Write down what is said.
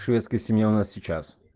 шведская семья у нас сейчас